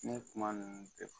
Ne kuma ninnu bɛ fɔ